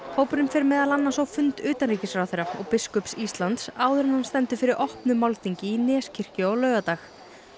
hópurinn fer meðal annars á fund utanríkisráðherra og biskups Íslands áður en hann stendur fyrir opnu málþingi í Neskirkju á laugardag